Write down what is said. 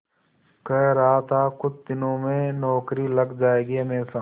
कह रहा था कुछ दिनों में नौकरी लग जाएगी हमेशा